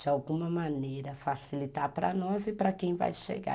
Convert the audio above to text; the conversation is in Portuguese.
de alguma maneira, facilitar para nós e para quem vai chegar.